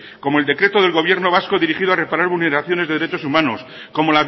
como el decreto del gobierno vasco dirigido a reparar vulneraciones de derechos humanos como